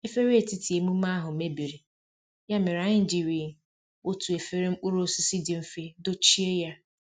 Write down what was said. Efere etiti emume ahụ mebiri, ya mere anyị jiri otu efere mkpụrụ osisi dị mfe dochie ya